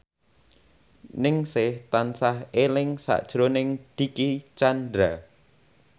Ningsih tansah eling sakjroning Dicky Chandra